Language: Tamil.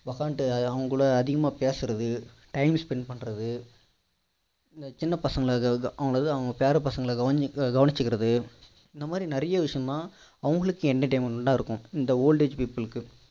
உட்கார்ந்துட்டு அவங்க கூட அதிகமா பேசுறது time spend பண்றது சின்ன பசங்கள அதாவது அவங்க பேர பசங்கள கவனிச்சிக்கிறது இந்த மாதிரி நிறைய விஷயம் அவங்களுக்கு entertainment டா இருக்கும் இந்த old age people க்கு